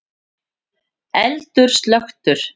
Eldur slökktur